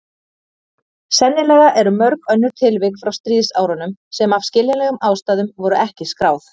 Sennilega eru mörg önnur tilvik frá stríðsárunum sem af skiljanlegum ástæðum voru ekki skráð.